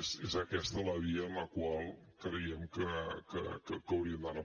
és aquesta la via en la qual creiem que hauríem d’anar